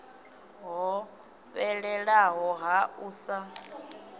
ho fhelelaho ha u sa